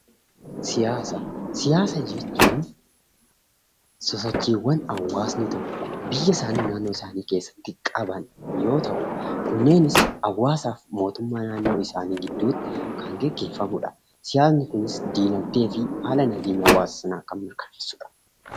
Siyaasa jechuun sosochiiwwan hawaasni tokko biyyasaanii keessatti qaban yoo ta'u, kunneenis hawaasaa fi hawaasa naannoo tokkoo gidduutti kan gaggeeffamudha. Siyaasni dinagdee fi haala nageenya hawaasa sanaa kan mirkaneessudha.